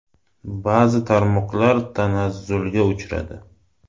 Ba’zi tarmoqlar tanazzulga uchradi.